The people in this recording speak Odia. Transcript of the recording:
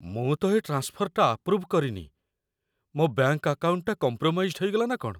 ମୁଁ ତ ଏ ଟ୍ରାନ୍ସଫର୍‌ଟା ଆପ୍ରୁଭ୍ କରିନି । ମୋ' ବ୍ୟାଙ୍କ୍‌ ଆକାଉଣ୍ଟଟା କମ୍ପ୍ରମାଇଜ୍‌ଡ୍‌ ହେଇଗଲା ନା କ'ଣ?